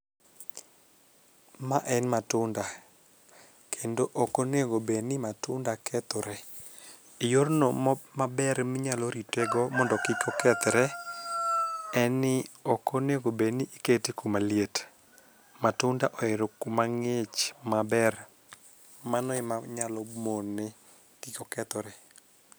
Mae en matunda. Kendo ok onego bed ni matunda kethore. Yorno maber ma inyalo ritego mondo kik okethore, en ni ok onego bed ni ikete kuma liet. Matunda ohero kuma ng'ich maber. Mano ema nyalo mone kik okethore.